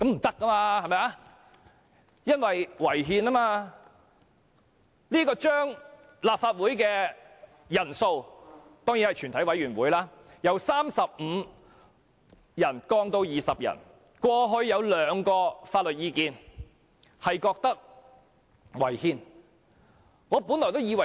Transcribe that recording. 對於將立法會全體委員會的法定人數由35人降至20人的建議，過往曾有兩項法律意見指出有關建議違憲。